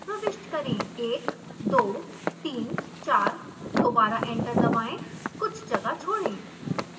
1 2 3 4 दोबारा एंटर दबाएं कुछ जगह छोड़ें